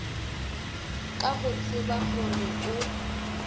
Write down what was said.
ka go tseba gore o